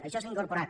això s’ha incorporat